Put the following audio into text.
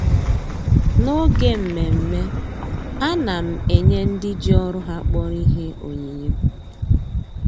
N'oge mmemme, a na m enye ndị ji ọrụ ha kpọrọ ihe onyinye